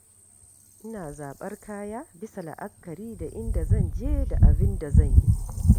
Ina zaɓar kaya bisa la’akari da inda zan je da abin da zan yi.